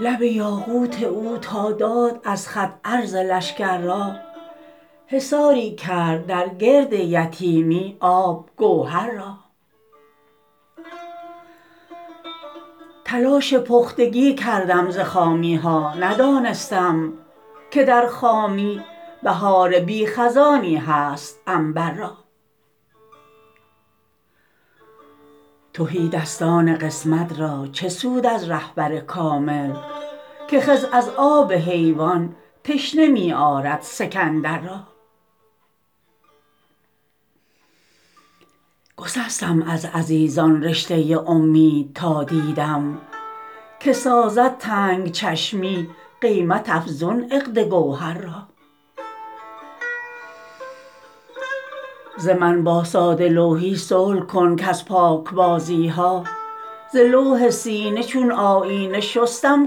لب یاقوت او تا داد از خط عرض لشکر را حصاری کرد در گرد یتیمی آب گوهر را تلاش پختگی کردم ز خامی ها ندانستم که در خامی بهار بی خزانی هست عنبر را تهیدستان قسمت را چه سود از رهبر کامل که خضر از آب حیوان تشنه می آرد سکندر را گسستم از عزیزان رشته امید تا دیدم که سازد تنگ چشمی قیمت افزون عقد گوهر را ز من با ساده لوحی صلح کن کز پاکبازی ها ز لوح سینه چون آیینه شستم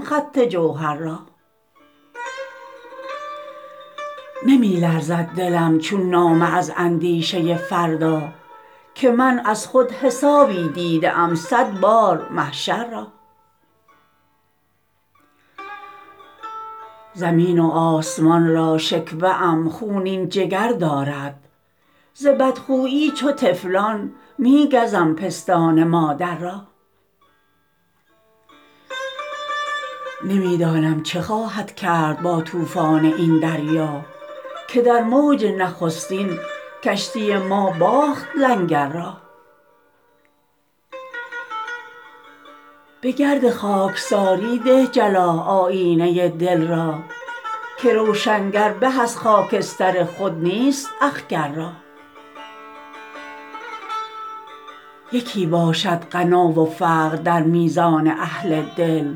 خط جوهر را نمی لرزد دلم چون نامه از اندیشه فردا که من ازخود حسابی دیده ام صد بار محشر را زمین و آسمان را شکوه ام خونین جگر دارد ز بدخویی چو طفلان می گزم پستان مادر را نمی دانم چه خواهد کرد با طوفان این دریا که در موج نخستین کشتی ما باخت لنگر را به گرد خاکساری ده جلا آیینه دل را که روشنگر به از خاکستر خود نیست اخگر را یکی باشد غنا و فقر در میزان اهل دل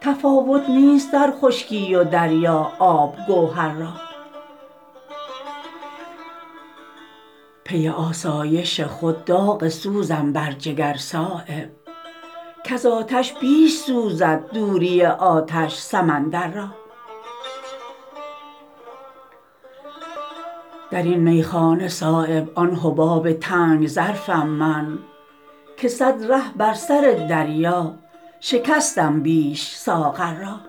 تفاوت نیست در خشکی و دریا آب گوهر را پی آسایش خود داغ سوزم بر جگر صایب کز آتش بیش سوزد دوری آتش سمندر را درین میخانه صایب آن حباب تنگ ظرفم من که صد ره بر سر دریا شکستم بیش ساغر را